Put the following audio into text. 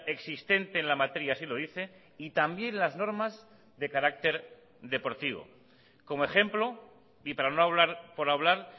existente en la materia así lo dice y también las normas de carácter deportivo como ejemplo y para no hablar por hablar